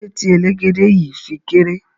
Kilode ti elegede yii fi kere?